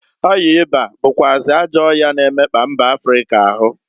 Ọya ịba bụkwazị ajọ ọya na-emekpa ndi mba Africa ahu.